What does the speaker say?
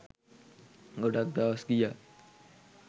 ගොඩක් දවස් ගියා.